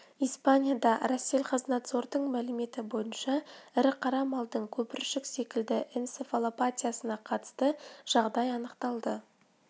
испанияда россельхознадзордың мәліметі бойынша ірі қара малдың көпіршік секілді энцефалопатиясына қатысты жағдай анықталды грецияда рет қой мен ешкіде шешек пен төрт рет